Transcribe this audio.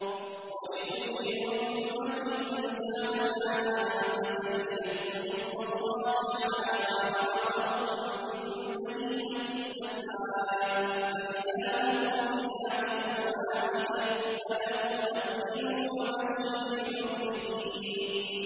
وَلِكُلِّ أُمَّةٍ جَعَلْنَا مَنسَكًا لِّيَذْكُرُوا اسْمَ اللَّهِ عَلَىٰ مَا رَزَقَهُم مِّن بَهِيمَةِ الْأَنْعَامِ ۗ فَإِلَٰهُكُمْ إِلَٰهٌ وَاحِدٌ فَلَهُ أَسْلِمُوا ۗ وَبَشِّرِ الْمُخْبِتِينَ